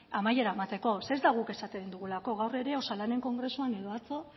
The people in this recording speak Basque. amaiera emateko zeren ez da guk esaten dugulako gaur ere osalanen kongresuan edo atzo